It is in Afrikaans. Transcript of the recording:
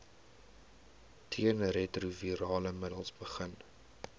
teenretrovirale middels begin